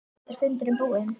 Er fundurinn búinn?